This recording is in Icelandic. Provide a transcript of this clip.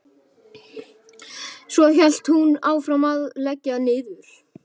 Svo hélt hún áfram að leggja niður.